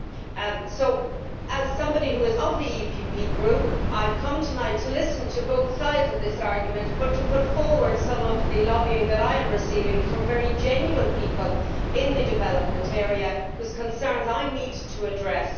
So, as a member of the PPE DE Group, I am here tonight to listen to both sides of this argument, but also to put forward some of the lobbying that I am receiving from very genuine people in the development area, whose concerns I need to address.